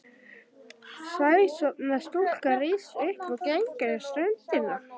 Sæsorfna stúlkan rís upp og gengur um ströndina.